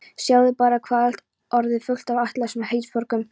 Sjáðu bara hvað allt er orðið fullt af ættlausum heimsborgurum!